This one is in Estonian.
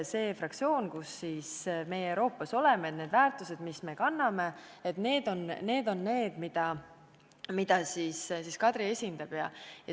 See on fraktsioon, kuhu meie Euroopa Parlamendis kuulume, ja need on väärtused, mida me kanname ja mida Kadri esindama peab.